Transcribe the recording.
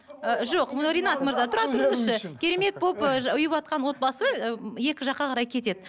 ы жоқ ну ринат мырза тұра тұрыңызшы керемет болып ы ұйыватқан отбасы екі жаққа қарай кетеді